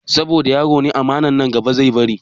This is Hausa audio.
Saboda yaro ne aman nan gaba zai bari